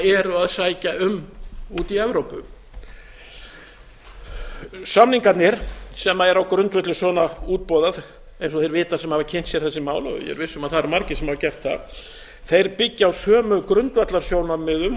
eru að sækja um úti í evrópu samningarnir sem eru á grundvelli svona útboða eins og degi vita sem hafa kynnt sér þessi mál ég er viss um að það eru margir sem hafa gert það þeir byggja á sömu grundvallarsjónarmiðum